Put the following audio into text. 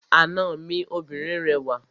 Àna mi obìnrin rẹwà.